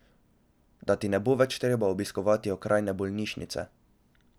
Da ti ne bo več treba obiskovati okrajne bolnišnice.